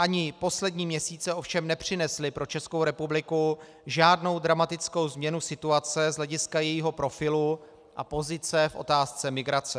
Ani poslední měsíce ovšem nepřinesly pro Českou republiku žádnou dramatickou změnu situace z hlediska jejího profilu a pozice v otázce migrace.